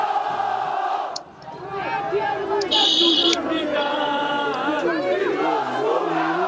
ଓହୋ। ଆଉ କଣ କହୁଥିଲି କି ଏବେ ଯୋଉ loan ମିଳୁନି।